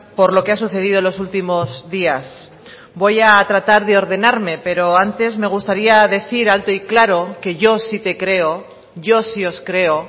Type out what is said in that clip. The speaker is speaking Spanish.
por lo que ha sucedido en los últimos días voy a tratar de ordenarme pero antes me gustaría decir alto y claro que yo si te creo yo si os creo